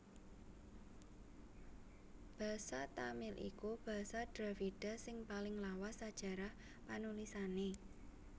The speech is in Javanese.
Basa Tamil iku basa Dravida sing paling lawas sajarah panulisané